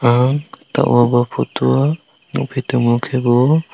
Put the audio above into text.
ang two aw photo o nugfi tongo ke bo--